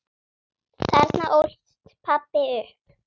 Þarna ólst pabbi upp.